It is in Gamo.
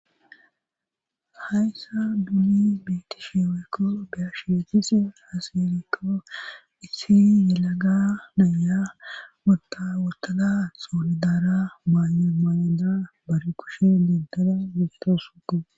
Hayssa duli beetisheeweekko beyashieetis haselekko issi yelaga naya wota wotada soolidaara maaye maayedara bari kushe dentada gisto suko.